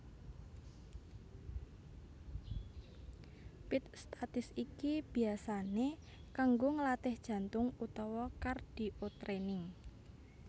Pit statis iki biasané kanggo nglatih jantung utawa cardiotraining